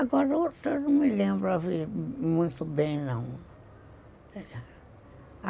Agora o outro eu não me lembro muito bem, não.